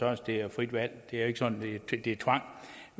at det er et frit valg det er ikke sådan